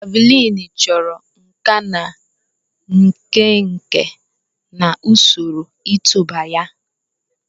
Javuliini chọrọ nkà na nkenke na usoro ịtụba ya.